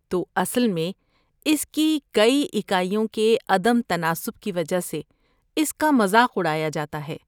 تو، اصل میں اس کی کئی اکائیوں کے عدم تناسب کی وجہ سے اس کا مذاق اڑایا جاتا ہے۔